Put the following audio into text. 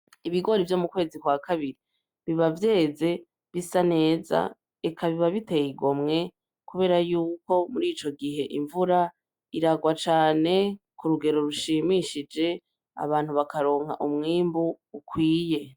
Ibigori vyo mu kwezi kwa kabiri biba vyeze bisa neza eka biba biteye igomwe kubera yuko muri ico gihe imvura iragwa cane ku rugero rushimishije abantu bakaronka umwimbu ukwiye.